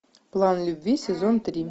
план любви сезон три